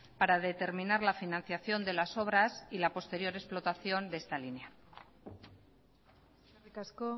para determinar la financiación de las obras y la posterior explotación de esta línea eskerrik asko